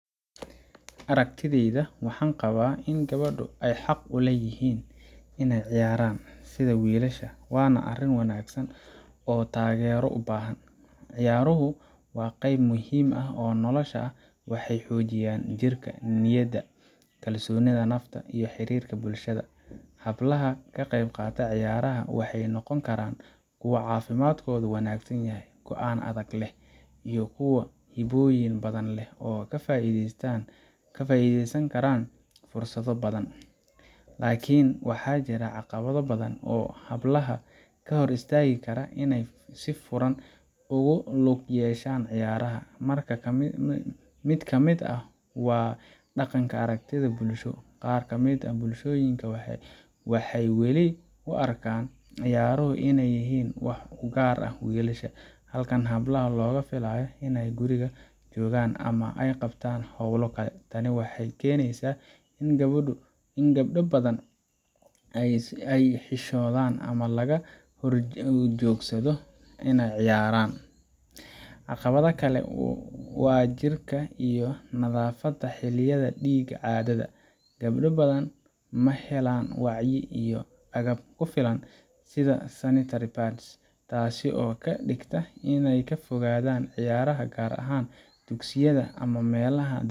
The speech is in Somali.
Aragtideyda waxaan qabaa in gabdu ay xaq u leeyihiin inay ciyaaraan sida wiilasha, waana arrin wanaagsan oo taageero u baahan. Ciyaaruhu waa qeyb muhiim ah oo nolosha ah waxay xoojiyaan jirka, niyadda, kalsoonida nafta, iyo xiriirka bulshada. Hablaha ka qaybqaata ciyaaraha waxay noqon karaan kuwo caafimaadkoodu wanaagsan yahay, go’aan adag leh, iyo kuwo hibooyin badan leh oo ka faa’iideysan kara fursado badan. Laakiin, waxaa jira caqabado badan oo hablaha ka hor istaagi kara inay si furan ugu lug yeeshaan ciyaaraha: Mid ka mid ah waa dhaqan iyo aragti bulsho qaar ka mid ah bulshooyinka waxay weli u arkaan ciyaaruhu inay yihiin wax u gaar ah wiilasha, halka hablaha looga filayo in ay guriga joogaan ama ay qabtaan hawlo kale. Tani waxay keenaysaa in gabdho badan ay xishoodaan ama laga horjoogsado inay ciyaaraan. Caqabad kale waa jirka iyo nadaafadda xilliyada dhiigga caadada gabdho badan ma helaan wacyi iyo agab ku filan sida sanitary pads, taasoo ka dhigta in ay ka fogaadaan ciyaaraha, gaar ahaan dugsiyada ama meelaha